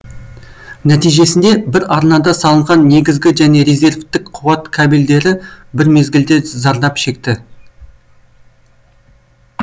нәтижесінде бір арнада салынған негізгі және резервтік қуат кабельдері бір мезгілде зардап шекті